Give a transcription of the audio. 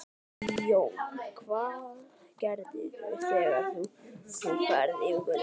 Jón: Og hvað gerirðu þegar þú ferð yfir götuna?